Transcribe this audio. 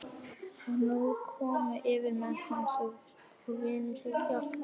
Og nú komu yfirmenn hans og vinir til hjálpar.